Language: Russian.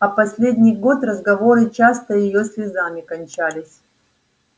а последний год разговоры часто её слезами кончались